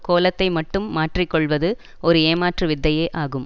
கோலத்தை மட்டும் மாற்றி கொள்வது ஒரு ஏமாற்று வித்தையே ஆகும்